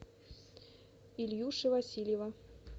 ильюши васильева